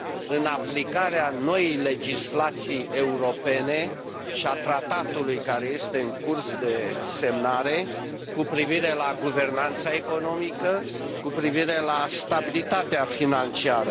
în aplicarea noii legislații europene și a tratatului care este în curs de semnare cu privire la guvernanța economică, cu privire la stabilitatea financiară.